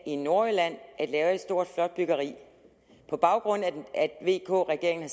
i nordjylland at lave et stort flot byggeri på baggrund af at vk regeringen